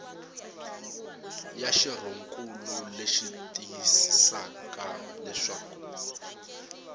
ya xirhonkulu leyi tiyisisaka leswaku